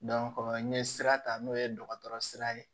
n ye sira ta n'o ye dɔgɔtɔrɔ sira ye